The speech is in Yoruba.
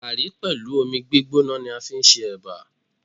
Gààrí pẹ̀lú omi gbígbóná ni a fi ń ṣe Ẹ̀bà.